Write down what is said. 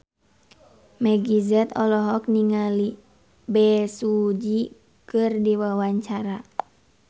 Meggie Z olohok ningali Bae Su Ji keur diwawancara